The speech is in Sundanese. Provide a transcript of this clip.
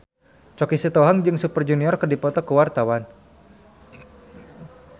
Choky Sitohang jeung Super Junior keur dipoto ku wartawan